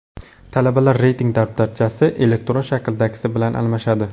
Talabalar reyting daftarchasi elektron shakldagisi bilan almashadi.